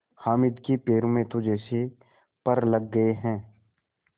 हामिद के पैरों में तो जैसे पर लग गए हैं